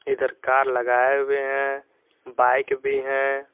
इधर कार लगाए हुए हैं बाइक भी हैं।